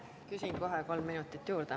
Küsin kohe kolm minutit juurde.